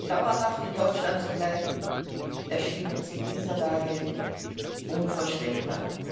Dauerhaft in Deutschland zu bleiben, erschien uns in dieser Lage unvorstellbar.